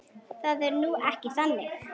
Það er nú ekki þannig.